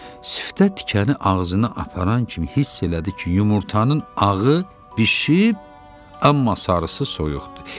Siftə tikəni ağzına aparan kimi hiss elədi ki, yumurtanın ağı bişib, amma sarısı soyuqdur.